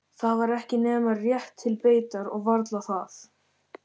Það var ekki nema rétt til beitar og varla það.